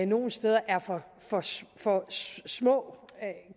nogle steder er for for små